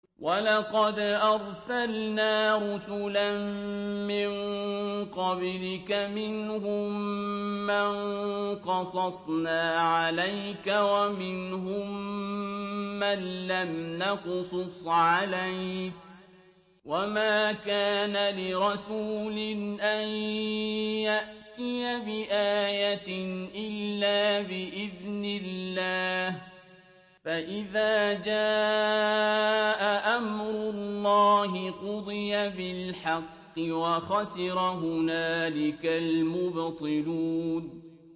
وَلَقَدْ أَرْسَلْنَا رُسُلًا مِّن قَبْلِكَ مِنْهُم مَّن قَصَصْنَا عَلَيْكَ وَمِنْهُم مَّن لَّمْ نَقْصُصْ عَلَيْكَ ۗ وَمَا كَانَ لِرَسُولٍ أَن يَأْتِيَ بِآيَةٍ إِلَّا بِإِذْنِ اللَّهِ ۚ فَإِذَا جَاءَ أَمْرُ اللَّهِ قُضِيَ بِالْحَقِّ وَخَسِرَ هُنَالِكَ الْمُبْطِلُونَ